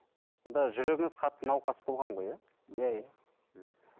жүрегіңіз қатты науқас болған ғой иә иә иә мхм